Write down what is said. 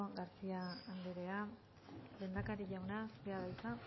garcía anderea lehendakari jauna zurea da hitza